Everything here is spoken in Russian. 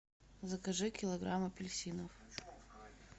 закажи килограмм апельсинов